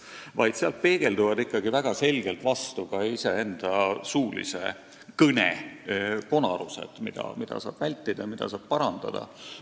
Toimetamata stenogrammist peegelduvad väga selgelt vastu iseenda suulise kõne konarused, mida saab vältida ja mida saab parandada.